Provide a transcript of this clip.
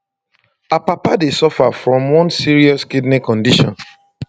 her papa dey suffer from one serious kidney condition